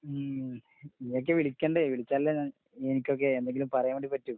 ഉം ഇയ്യൊക്കെ വിളിക്കണ്ടേ. വിളിച്ചാലല്ലേ ഞാൻ എനിക്കൊക്കെ എന്തെങ്കിലും പറയാൻ വേണ്ടി പറ്റൂ.